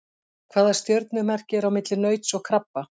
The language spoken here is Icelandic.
Hvaða stjörnumerki er á milli nauts og krabba?